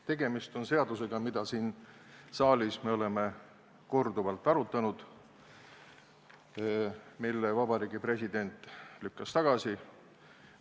Tegemist on seadusega, mida siin saalis me oleme korduvalt arutanud, mille Vabariigi President lükkas tagasi.